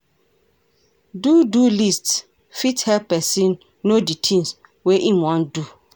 Do-do list fit help person no di things wey im wan do